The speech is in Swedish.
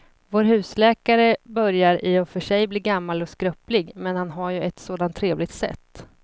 Vår husläkare börjar i och för sig bli gammal och skröplig, men han har ju ett sådant trevligt sätt!